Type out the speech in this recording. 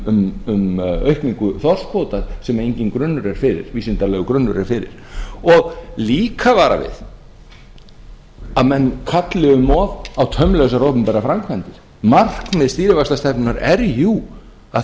um aukningu þorskkvóta sem enginn vísindalegur grunnur er fyrir og líka vara við að menn kalli um of á taumlausar opinberar framkvæmdir markmið stýrivaxtastefnunnar er jú að